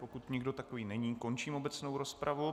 Pokud nikdo takový není, končím obecnou rozpravu.